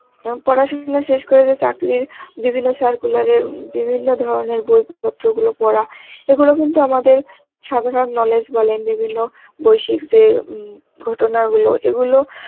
এহন, পড়াশোনা শেষ করে যে চাকরির বিভিন্ন circular এর বিভিন্ন ধরনের বই পত্র গুলো পরা, এগুলো কিন্তু আমাদের সাধারণ knowledge বলেন বিভিন্য বৈশিক যে উম ঘটনা গুলো এগুলো